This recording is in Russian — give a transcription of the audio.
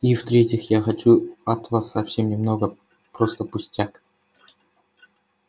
и в третьих я хочу от вас совсем немного просто пустяк